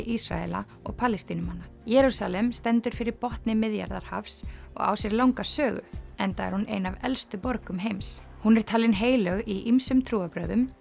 Ísraela og Palestínumanna Jerúsalem stendur fyrir botni Miðjarðarhafs og á sér langa sögu enda er hún ein af elstu borgum heims hún er talin heilög í ýmsum trúarbrögðum